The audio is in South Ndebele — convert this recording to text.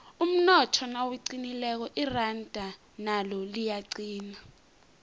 umnotho nawuqinileko iranda nalo liyaqina